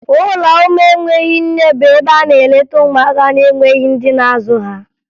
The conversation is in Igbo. Ụlọ ụmụ enweghi nne bụ ebe a na-eleta ụmụaka na-enweghi ndị na-azụ ha